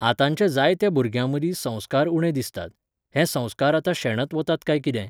आतांच्या जायत्या भुरग्यां मदीं संस्कार उणे दिसतात. हे संस्कार आतां शेणत वतात कांय कितें